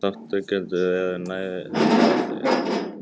Þátttakendur eru nær hundraði